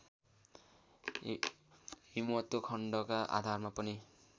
हिमवत्खण्डका आधारमा पनि